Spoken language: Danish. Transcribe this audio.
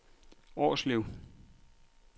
Årslev